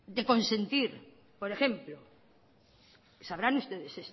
de consentir por ejemplo sabrán ustedes